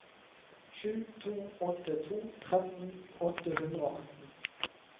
sju to åtte to tretten åtte hundre og atten